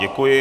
Děkuji.